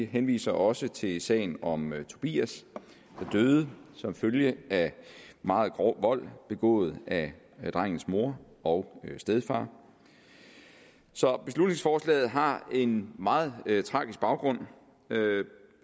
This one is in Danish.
henviser også til sagen om tobias der døde som følge af meget grov vold begået af drengens mor og stedfar så beslutningsforslaget har en meget tragisk baggrund